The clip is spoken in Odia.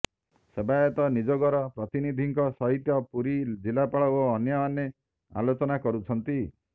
ସେବାୟତ ନିଯୋଗର ପ୍ରତିନିଧିଙ୍କ ସହିତ ପୁରୀ ଜିଲ୍ଲାପାଳ ଓ ଅନ୍ୟମାନେ ଆଲୋଚନା କରୁଛନ୍ତି